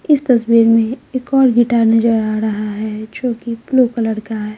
इस तस्वीर में एक और गिटार नजर आ रहा है जो कि ब्लू कलर का है।